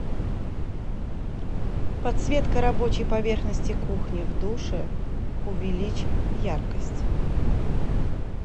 подсветка рабочей поверхности кухни в душе увеличь яркость